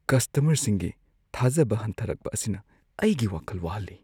ꯀꯁꯇꯃꯔꯁꯤꯡꯅ ꯊꯥꯖꯕ ꯍꯟꯊꯔꯛꯄ ꯑꯁꯤꯅ ꯑꯩꯒꯤ ꯋꯥꯈꯜ ꯋꯥꯍꯜꯂꯤ ꯫